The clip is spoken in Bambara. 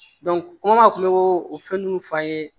a tun bɛ o fɛn ninnu f'an ye